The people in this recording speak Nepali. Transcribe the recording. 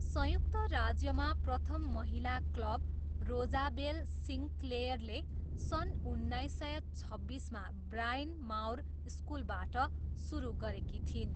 संयुक्त राज्यमा प्रथम महिला क्लब रोजाबेल सिन्क्लेयरले सन् उन्नाइस सय छब्बिसमा ब्रायन माउर स्कुलबाट सुरु गरेकी थिइन्।